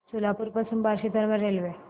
सोलापूर पासून बार्शी दरम्यान रेल्वे